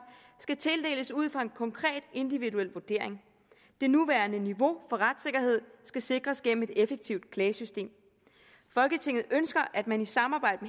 skal tildeles ud fra en konkret individuel vurdering det nuværende niveau for retssikkerhed skal sikres gennem et effektivt klagesystem folketinget ønsker at man i samarbejde